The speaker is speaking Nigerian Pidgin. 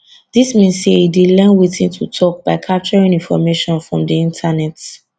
dis mean say e dey learn wetin to tok by capturing information from di internet